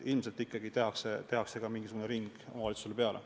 Ilmselt ikkagi tehakse mingisugune ring omavalitsuses peale.